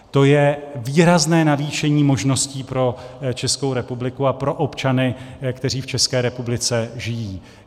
To je výrazné navýšení možností pro Českou republiku a pro občany, kteří v České republice žijí.